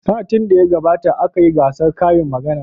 Satin da ya gabata aka yi gasar karin magana.